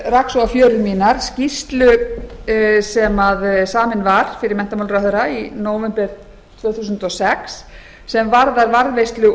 rak svo á fjörur mínar skýrslu sem samin var fyrir menntamálaráðherra í nóvember tvö þúsund og sex sem varðar varðveislu